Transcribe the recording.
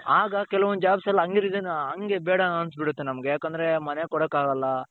ಆಗ ಕೆಲವೊಂದು jobs ಅಲ್ಲಿ ಅಂಗೆ resign ಅಂಗೆ ಬೇಡ ಅನ್ಸ್ಬಿಡುತ್ತೆ ನಮ್ಗೆ ಯಾಕಂದ್ರೆ ಮನೆಗೆ ಕೊಡಕ್ಕಾಗಲ್ಲ.